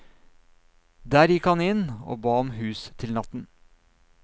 Der gikk han inn og ba om hus til natten.